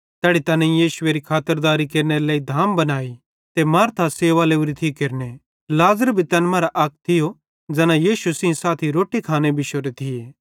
तैड़ी तैनेईं यीशुएरी खातरदारी केरनेरे लेइ धाम बनाई ते मार्था सेवा लोरी थी केरने लाज़र भी तैन मरां अक थियो ज़ैना यीशु सेइं साथी रोट्टी खाने बिश्शोरे थिये